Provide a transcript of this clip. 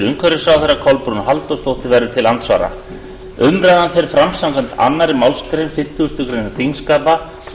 umhverfisráðherra kolbrún halldórsdóttir verður til andsvara umræðan fer fram samkvæmt annarri málsgrein fimmtugustu grein þingskapa og